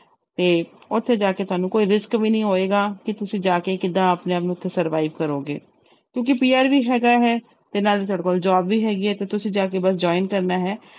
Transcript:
ਤੇ ਉੱਥੇ ਜਾ ਕੇ ਤੁਹਾਨੂੰ ਕੋਈ risk ਵੀ ਨੀ ਹੋਏਗਾ ਕਿ ਤੁਸੀਂ ਜਾ ਕੇ ਕਿੱਦਾਂ ਆਪਣੇ ਆਪ ਨੂੰ ਉੱਥੇ survive ਕਰੋਗੇ ਕਿਉਂਕਿ PR ਵੀ ਹੈਗਾ ਹੈ ਤੇ ਨਾਲ ਹੀ ਤੁਹਾਡੇ ਕੋਲ job ਵੀ ਹੈਗੀ ਹੈ ਤੇ ਤੁਸੀਂ ਜਾ ਕੇ ਬਸ join ਕਰਨਾ ਹੈ।